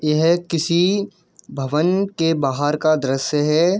यह किसी भवन के बाहर का दृश्‍य है।